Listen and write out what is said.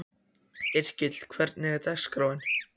Yrkill, hvernig er dagskráin?